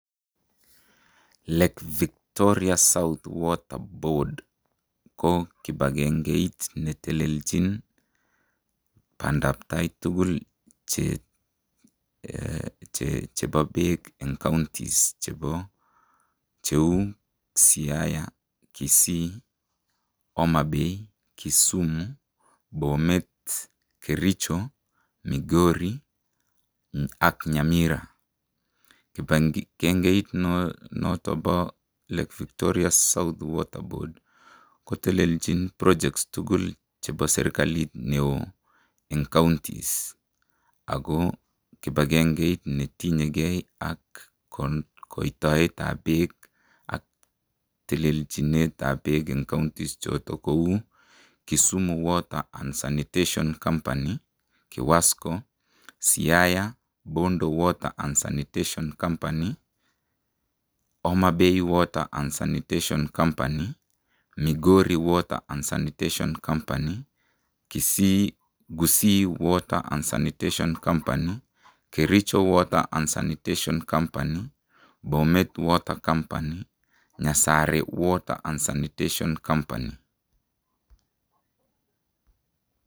Lake Victoria south water board ko kipakengeit netelelchin bandabtai tukul chebo bek eng kauntis chebo, cheu ,siaya, kissi, homabay, Kisumu, bomet, kericho, migori, ak nyamira, kipakengeit noton bo lake Victoria south water board ko telelchin projects tukul chebo serikalit neo eng kauntis, ako kipakengeit netinyeke ak kaitoetab bek ak telelchinetab bek eng kauntis choton kou, Kisumu water and sanitation company, kiwasco, siaya Bondo water and sanitation company, homabay water and sanitation company, migori water and sanitation company, kissi water and sanitation company, kericho water and sanitation company, bomet water company, nyasare water and sanitation company.